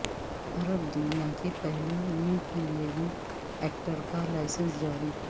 عرب دنیا کے پہلے نیوکلیئر ری ایکٹر کا لائسنس جاری